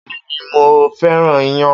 Bẹ́ẹ́ni mo fẹ́ràn iyán.